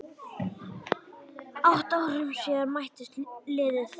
Átta árum síðan mættust liðin.